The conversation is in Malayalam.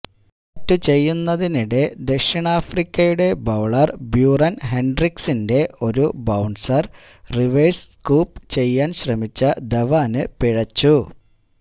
ബാറ്റു ചെയ്യുന്നതിനിടെ ദക്ഷിണാഫ്രിക്കയുടെ ബൌളര് ബ്യൂറന് ഹെന്ഡ്രിക്സിന്റെ ഒരു ബൌണ്സര് റിവേഴ് സ്കൂപ്പ് ചെയ്യാന് ശ്രമിച്ച ധവാന് പിഴച്ചു